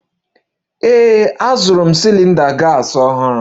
Ee, azụrụ m cylinder gas ọhụrụ